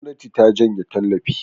gwamnati ta janye tallafi